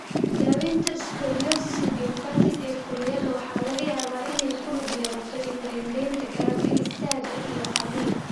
Daawaynta scoliosis idiopathic ee kurayda waxa laga yaabaa inay ku lug yeelato indho-indhayn, garab istaag iyo qaliin.